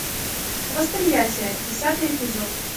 восприятие десятый эпизод